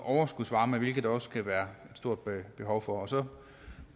overskudsvarme hvilket der også kan være et stort behov for og så